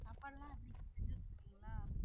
சாப்பாடு எல்லாம் அப்பப்போ செஞ்சு வச்சுருவீங்களா?